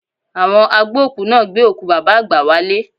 Àwọn agbókùú náà gbé òkú Bàbá àgbà wálé